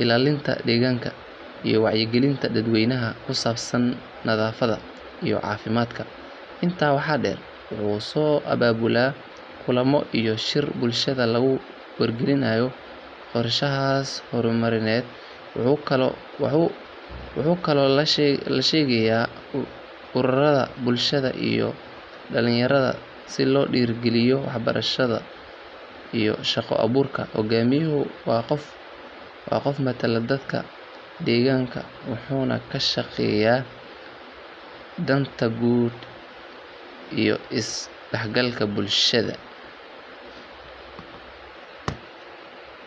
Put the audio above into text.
ilaalinta deegaanka, iyo wacyigelinta dadweynaha ku saabsan nadaafadda iyo caafimaadka. Intaa waxaa dheer, wuxuu soo abaabulaa kulamo iyo shirar bulshada lagu wargelinayo qorshayaasha horumarineed. Wuxuu kaloo la shaqeeyaa ururada bulshada iyo dhalinyarada si loo dhiirrigeliyo waxbarashada iyo shaqo-abuurka. Hoggaamiyuhu waa qofka matala dadka deegaanka wuxuuna ka shaqeeyaa danta guud iyo is dhexgalka bulshada.